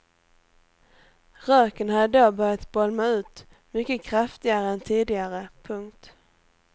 Röken hade då börjat bolma ut mycket kraftigare än tidigare. punkt